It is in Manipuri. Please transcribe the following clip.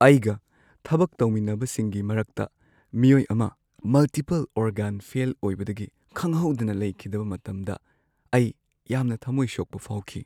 ꯑꯩꯒ ꯊꯕꯛ ꯇꯧꯃꯤꯟꯅꯕꯁꯤꯡꯒꯤ ꯃꯔꯛꯇ ꯃꯤꯑꯣꯏ ꯑꯃ ꯃꯜꯇꯤꯄꯜ-ꯑꯣꯔꯒꯥꯟ ꯐꯦꯜ ꯑꯣꯏꯕꯗꯒꯤ ꯈꯪꯍꯧꯗꯅ ꯂꯩꯈꯤꯗꯕ ꯃꯇꯝꯗ ꯑꯩ ꯌꯥꯝꯅ ꯊꯝꯃꯣꯢ ꯁꯣꯛꯄ ꯐꯥꯎꯈꯤ ꯫